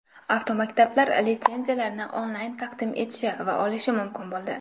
Avtomaktablar litsenziyalarni onlayn taqdim etishi va olishi mumkin bo‘ldi.